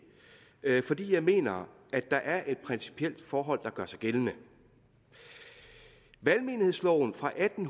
fordi jeg mener at der er et principielt forhold der gør sig gældende valgmenighedsloven fra atten